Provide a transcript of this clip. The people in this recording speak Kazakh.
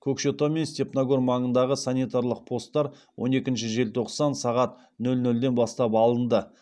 көкшетау мен степногор маңындағы санитарлық посттар он екінші желтоқсан сағат нөл нөлден бастап алынды